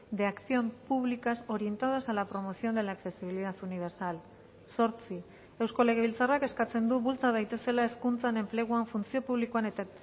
de acción públicas orientadas a la promoción de la accesibilidad universal zortzi eusko legebiltzarrak eskatzen du bultza daitezela hezkuntzan enpleguan funtzio publikoan eta